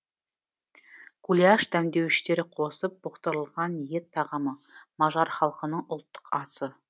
гуляш дәмдеуіштер қосып бұқтырылған ет тағамы мажар халқының ұлттық асы